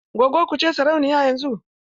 Gwaggon ki ce sarauniya yanzun?